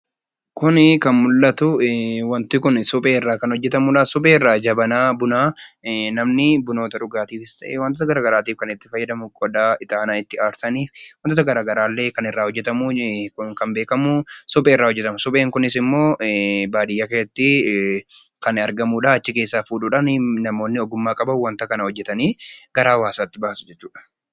Kun kan mul'atu, waanti suphee irraa kan hojjetamudha. Suphee irraa jabanaa bunaa namni buna dhugaatiifis ta'ee waantota garaagaraatiif kan itti fayyadamu qodaa ixaana itti aarsan kan irraa hojjetamu kan beekamu suphee irraa hojjetama. Supheen kunis baadiyyaa keessatti kan argamu achi keessaa fuudhuudhaan namoonni ogummaa qaban hojjetanii gara hawaasaatti baasu jechuudha.